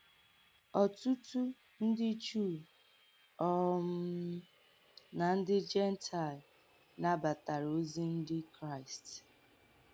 Ọ̀tùtù ǹdí Juu um nà ǹdí Jèntaịl nàbàtàrà òzì Ǹdí Kráịst.